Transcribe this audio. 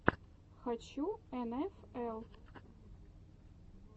хочу эн эф эл